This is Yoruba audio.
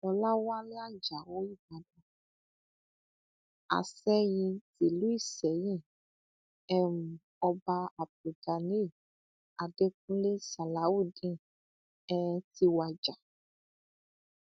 ọlàwálẹ ajáò ìbàdàn asẹ́yìn tìlú ìsẹyìn um ọba abdul ganiy adẹkùnlé salawudeen um ti wàjà